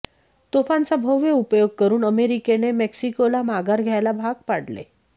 तोफांचा भव्य उपयोग करून अमेरिकेने मेक्सिकोला माघार घ्यायला भाग पाडले